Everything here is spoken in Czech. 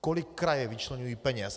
Kolik kraje vyčleňují peněz?